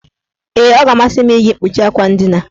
Ee, ọ ga-amasị m iji mkpuchi akwa ndina.